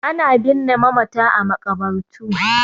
Ana binne mamata a maƙabartu